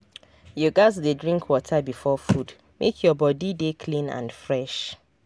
you gats dey drink water before food make your body dey clean and fresh.